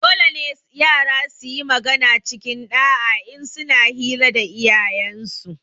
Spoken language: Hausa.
Dolene yara suyi magana cikin ɗa'a in suna hira da iyayensu